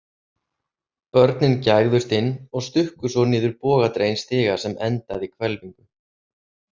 Börnin gægðust inn og stukku svo niður bogadreginn stiga sem endaði í hvelfingu.